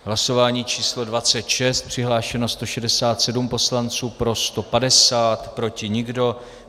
Hlasování číslo 26, přihlášeno 167 poslanců, pro 150, proti nikdo.